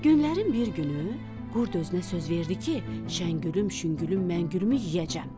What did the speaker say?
Günlərin bir günü, qurd özünə söz verdi ki, Şəngülüm, şüngülüm, məngülümü yeyəcəm.